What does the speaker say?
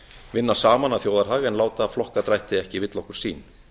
vinna saman að þjóðarhag en láta flokkadrætti ekki villa okkur sýn